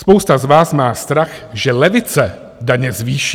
Spousta z vás má strach, že levice daně zvýší.